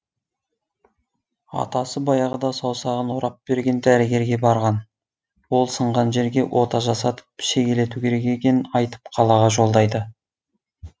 атасы баяғыда саусағын орап берген дәрігерге барған ол сынған жерге ота жасатып шегелету керек екенін айтып қалаға жолдайды